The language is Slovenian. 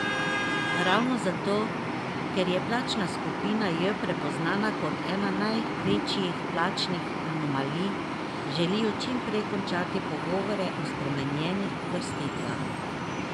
Ravno zato, ker je plačna skupina J prepoznana kot ena največjih plačnih anomalij, želijo čim prej končati pogovore o spremenjenih uvrstitvah.